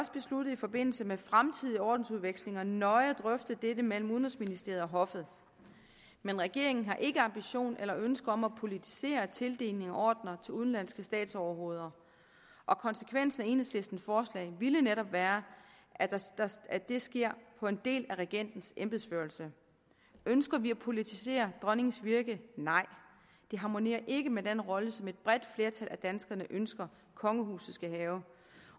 i forbindelse med fremtidige ordensudvekslinger nøje at drøfte dette mellem udenrigsministeriet og hoffet men regeringen har ikke ambition eller ønske om at politisere tildeling af ordener til udenlandske statsoverhoveder og konsekvensen af enhedslistens forslag ville netop være at det sker på en del af regentens embedsførelse ønsker vi at politisere dronningens virke nej det harmonerer ikke med den rolle som et bredt flertal af danskerne ønsker kongehuset skal have